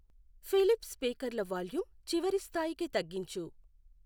Philips స్పీకర్ల volume చివరి స్థాయి కి తగ్గించు